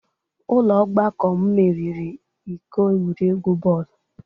Ụlọ ọgbakọ m meriri iko egwuregwu bọọlụ